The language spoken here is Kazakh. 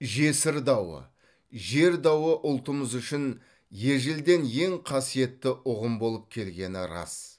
жесір дауы жер дауы ұлтымыз үшін ежелден ең қасиетті ұғым болып келгені рас